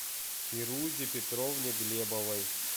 фирузе петровне глебовой